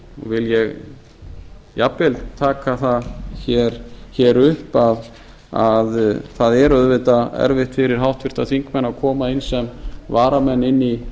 vil ég jafnvel taka það hér upp að það er auðvitað erfitt fyrir háttvirta þingmenn að koma inn sem varamenn inn í